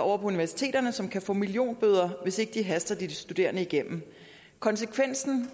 over på universiteterne som kan få millionbøder hvis ikke de haster de studerende igennem konsekvensen